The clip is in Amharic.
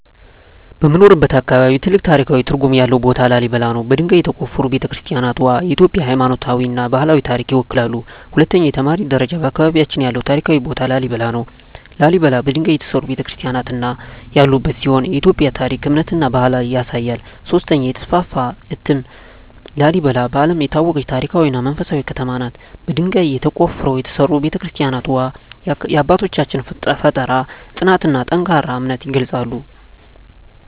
በምኖርበት አካባቢ ትልቅ ታሪካዊ ትርጉም ያለው ቦታ ላሊበላ ነው። በድንጋይ የተቆፈሩ ቤተ-ክርስቲያናትዋ የኢትዮጵያን ሃይማኖታዊና ባህላዊ ታሪክ ይወክላሉ። 2) የተማሪ ደረጃ በአካባቢያችን ያለው ታሪካዊ ቦታ ላሊበላ ነው። ላሊበላ በድንጋይ የተሠሩ ቤተ-ክርስቲያናት ያሉበት ሲሆን የኢትዮጵያን ታሪክ፣ እምነትና ባህል ያሳያል። 3) የተስፋፋ እትም ላሊበላ በዓለም የታወቀች ታሪካዊ እና መንፈሳዊ ከተማ ናት። በድንጋይ ተቆፍረው የተሠሩ ቤተ-ክርስቲያናትዋ የአባቶቻችንን ፍጠራ፣ ጽናትና ጠንካራ እምነት ይገልጻሉ።